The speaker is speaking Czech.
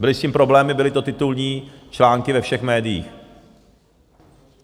Byly s tím problémy, byly to titulní články ve všech médiích.